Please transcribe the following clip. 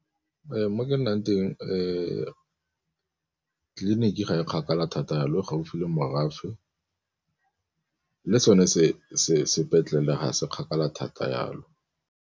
Mo ke nnang teng tleliniking ga e kgakala thata jalo, e gaufi le morafe le sone sepetlele ga se kgakala thata yalo.